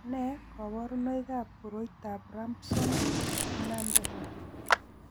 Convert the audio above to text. Nee kabarunoikab koroitoab Rabson Mendenhall?